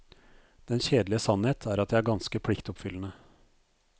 Den kjedelige sannhet er at jeg er ganske pliktoppfyllende.